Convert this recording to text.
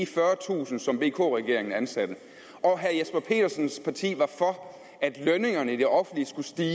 fyrretusind som vk regeringen ansatte og herre jesper petersens parti var for at lønningerne i det offentlige skulle stige